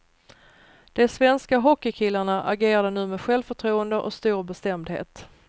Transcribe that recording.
De svenska hockeykillarna agerade nu med självförtroende och stor bestämdhet.